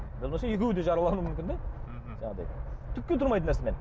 екеуі де жаралануы мүмкін де мхм жаңағыдай түкке тұрмайтын нәрсемен